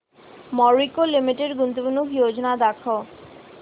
Marico limited गुंतवणूक योजना दाखव